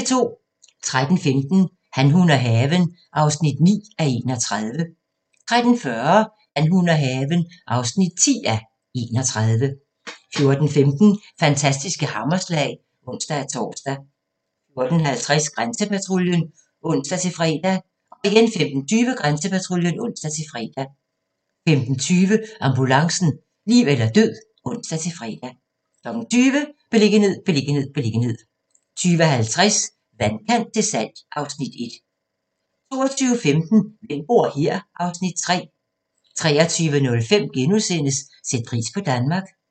13:15: Han, hun og haven (9:31) 13:40: Han, hun og haven (10:31) 14:15: Fantastiske hammerslag (ons-tor) 14:50: Grænsepatruljen (ons-fre) 15:20: Grænsepatruljen (ons-fre) 15:50: Ambulancen - liv eller død (ons-fre) 20:00: Beliggenhed, beliggenhed, beliggenhed 20:50: Vandkant til salg (Afs. 1) 22:15: Hvem bor her? (Afs. 3) 23:05: Sæt pris på Danmark *